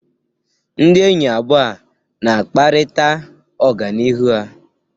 Ndị enyi abụọ a na-akparịta ọganihu ha.